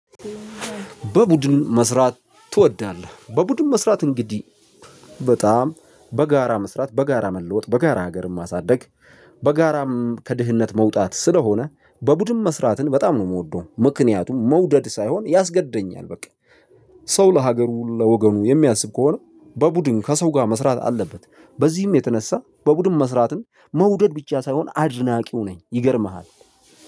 በቡድን መስራት ትወዳለህ? በቡድን መስራት እንግዲህ በጣም በጋራ መስራት በጋራ መለወጥ በጋራ ሀገርም ማሳደግ። በጋራም ከድህነት መውጣት ስለሆነ በቡድን መስራትን በጣም ነው የምወደው። ምክንያቱም መውደድ ሳይሆን ያስገደኛል በቃ ሰው ለሀገሩ ለወገኑ የሚያስብ ከሆነ በቡድን ከሰው ጋር መስራት አለበት። በዚህም የተነሳ በቡድን መስራትን መውደድ ብቻ ሳይሆን አድናቂው ነኝ ይገርምሃል።